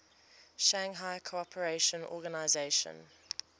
shanghai cooperation organization